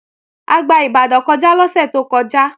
A gba Ìbàdàn kọjá lọ́sẹ̀ tó kọjá